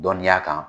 Dɔnniya kan